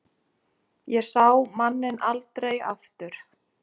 Ég sá manninn aldrei aftur.